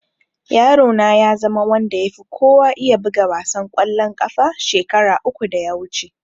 Yaro na ya zama wanda ya fi kowa iya buga wasan ƙwallon ƙafa shekara uku da ya wuce